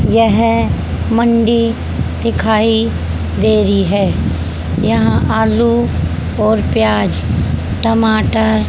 यह मंडी दिखाई दे रही है यहां आलू और प्याज टमाटर--